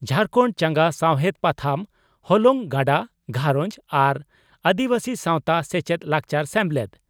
ᱡᱷᱟᱨᱠᱷᱟᱱᱰ ᱪᱟᱸᱜᱟ ᱥᱟᱣᱦᱮᱰ ᱯᱟᱛᱷᱟᱢ ᱦᱚᱞᱚᱝ ᱜᱟᱰᱟ ᱜᱷᱟᱨᱚᱸᱡᱽ ᱟᱨ ᱟᱹᱫᱤᱵᱟᱹᱥᱤ ᱥᱟᱣᱛᱟ ᱥᱮᱪᱮᱫ ᱞᱟᱠᱪᱟᱨ ᱥᱮᱢᱞᱮᱫ